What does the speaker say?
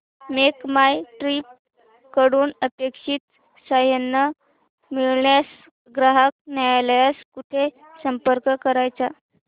make My Trip कडून अपेक्षित सहाय्य न मिळाल्यास ग्राहक न्यायालयास कुठे संपर्क करायचा